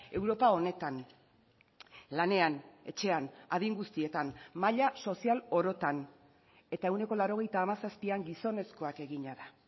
europa honetan lanean etxean adin guztietan maila sozial orotan eta ehuneko laurogeita hamazazpian gizonezkoak egina da